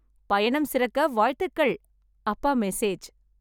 பயணம் சிறக்க வாழ்த்துக்கள் - அப்பா மெசேஜ்